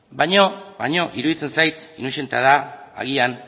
baino iruditzen zait inozentada agian